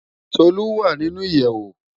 Tolu wá ninú iyèwó